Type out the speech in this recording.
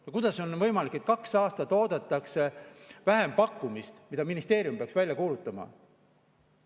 Aga kuidas on võimalik, et kaks aastat oodatakse vähempakkumist, mille ministeerium peaks välja kuulutama?